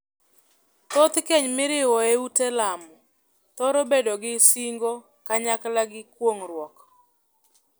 Thoth keny miriwo ei ute lamo thoro bedo gi singo kanyakla gi kuong'ruok.